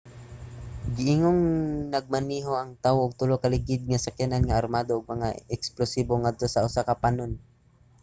giingong nagmaneho ang tawo og tulo ka ligid nga sakyanan nga armado og mga eksplosibo ngadto sa usa ka panon